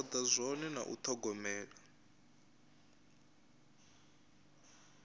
toda zwone na u thogomela